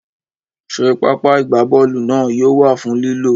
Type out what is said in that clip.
Ṣé pápá ìgbábọ́ọ̀lù náà yóò wà fún lílò?